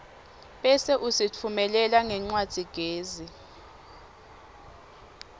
bese usitfumelela ngencwadzigezi